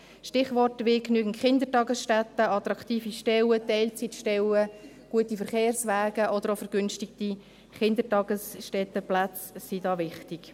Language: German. Stichworte wie genügend Kindertagesstätten, attraktive Stellen, Teilzeitstellen, gute Verkehrswege oder vergünstige Kindertagesstättenplätze sind da wichtig.